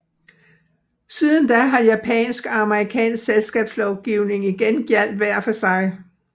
Siden da har japansk og amerikansk selskabslovgivning igen gjaldt hver for sig